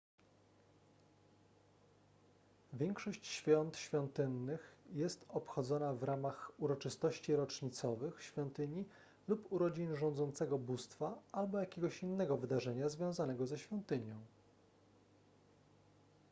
większość świąt świątynnych jest obchodzona w ramach uroczystości rocznicowych świątyni lub urodzin rządzącego bóstwa albo jakiegoś innego wydarzenia związanego ze świątynią